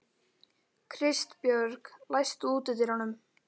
Kristbjörg, læstu útidyrunum.